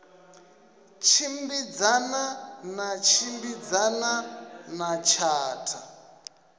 tshimbidzana na tshimbidzana na tshatha